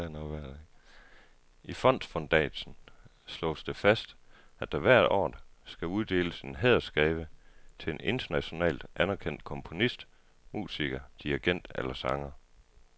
I fondsfundatsen slås det fast, at der hvert år skal uddeles en hædersgave til en internationalt anerkendt komponist, musiker, dirigent eller sanger.